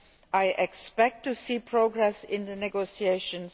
I expect to see progress in the negotiations.